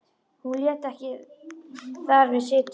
Hún lét ekki þar við sitja.